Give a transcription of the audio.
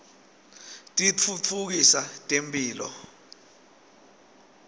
titfutfukisa temphilo